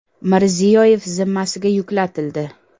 Mirziyoyev zimmasiga yuklatildi.